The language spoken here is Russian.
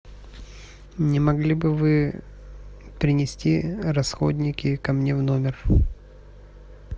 не могли бы вы принести расходники ко мне в номер